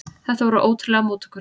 Þetta voru ótrúlegar móttökur.